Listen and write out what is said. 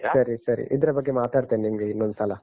ಸರಿ, ಸರಿ. ಇದ್ರ ಬಗ್ಗೆ ಮಾತಾಡ್ತೇನೆ ನಿಮ್ಗೆ ಇನ್ನೊಂದ್ಸಲ.